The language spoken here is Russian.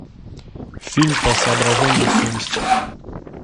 фильм по соображениям совести